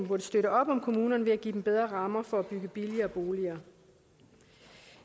burde støtte op om kommunerne ved at give dem bedre rammer for at bygge billigere boliger